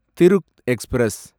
Thiru express